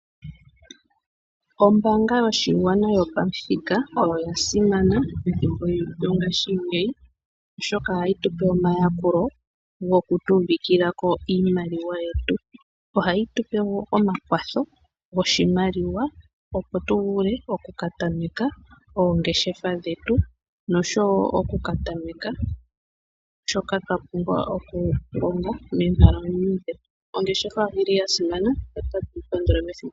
Ombaanga yoshigwana yopamuthika oya simana pethimbo lyongashingeyi oshoka ohayi tupe omayakulo goku pungulako iimaliwa yetu . Ohayi tupe woo omakwatho goshimaliwa opo tuvule oku ka tameka oongeshefa dhetu noshowo okuka tameka shoka twapumbwa oku longa moonkalamwenyo dhetu. Ongeshefa oyili ya simana.